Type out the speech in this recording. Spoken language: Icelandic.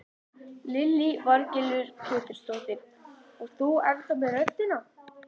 Lillý Valgerður Pétursdóttir: Og þú ennþá með röddina?